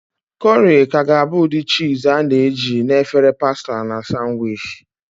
Corrie ka ga-abụ ụdị cheese a na-eji na efere pasta na sanwichi.